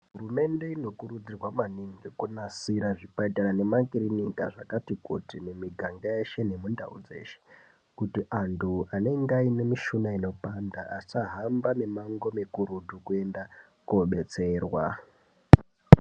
Hurumende inokurudzirwa maningi kunasira zvipatara nemakirinika zvakati kuti mumiganga yeshe nemundau dzeshe kuti anhu anenge aine mishuna inopanda asahamba mimango mikurutu kuenda kobetserwa.